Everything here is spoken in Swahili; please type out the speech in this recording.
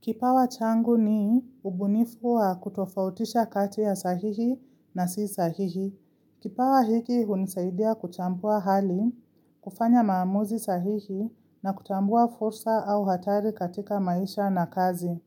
Kipawa changu ni ubunifu wa kutofautisha kati ya sahihi na si sahihi. Kipawa hiki unisaidia kuchambua hali, kufanya maamuzi sahihi na kutambua fursa au hatari katika maisha na kazi.